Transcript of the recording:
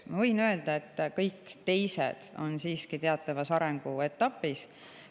Ma võin öelda, et kõik teised on siiski teatavas arenguetapis.